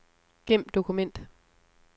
Gem dokument.